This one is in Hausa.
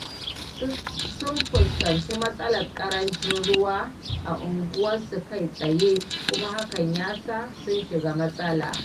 Sun fuskanci matsalar ƙarancin ruwa a unguwarsu kai tsaye kuma hakan ya sa sun shiga matsala.